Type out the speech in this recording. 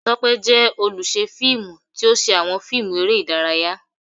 Tope jẹ oluṣẹ filmú, ti o ṣe awọn fiimú eré idàráyá